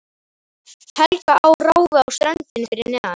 Helga á ráfi á ströndinni fyrir neðan.